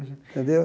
Entendeu?